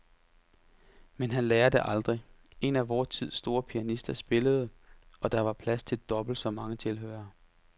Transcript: Men han lærer det aldrig. En af vor tids store pianister spillede, og der var plads til dobbelt så mange tilhørere.